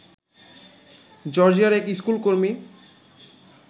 জর্জিয়ার এক স্কুলকর্মী